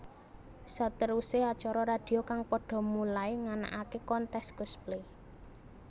Seteruse acara radio kang pada mulai nganakake kontes cosplay